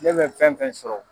Ne bɛ fɛn fɛn sɔrɔ